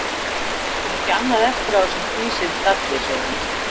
Þeir ættu nú ekki annað eftir á þessum dísildalli, segir hann.